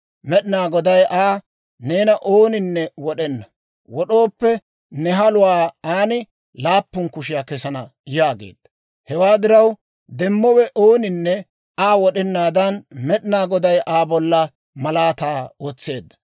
Med'inaa Goday Aa, «Neena ooninne wod'ena; wod'ooppe, ne haluwaa aan laappun kushiyaa kesana» yaageedda. Hewaa diraw, demmowe ooninne Aa wod'enaadan Med'inaa Goday Aa bolla malaataa wotseedda.